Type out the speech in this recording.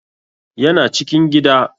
Ya na cikin gida